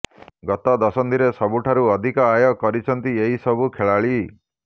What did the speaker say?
ଗତ ଦଶନ୍ଧିରେ ସବୁଠୁ ଅଧିକ ଆୟ କରିଛନ୍ତି ଏହି ସବୁ ଖେଳାଳି